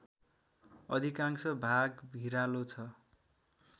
अधिकांश भाग भिरालो छ